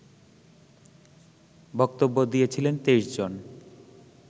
বক্তব্য দিয়েছিলেন ২৩ জন